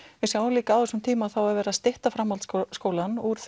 við sjáum líka að á þessum tíma er verið að stytta framhaldsskólann úr